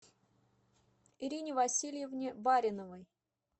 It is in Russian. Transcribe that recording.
ирине васильевне бариновой